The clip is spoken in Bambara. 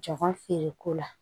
Jɔn feereko la